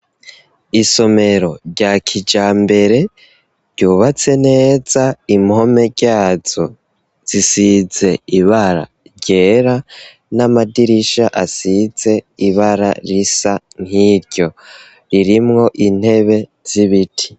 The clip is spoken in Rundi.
Isomero rya kijambere ryubatse neza, impome ryazo zisize ibara ryera n'amadirisha asize ibara risa nkiryo. Ririmwo intebe z'ibiti.